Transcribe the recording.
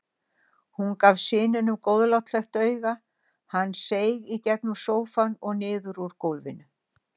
Hún gaf syninum góðlátlegt auga, hann seig í gegnum sófann og niður úr gólfinu.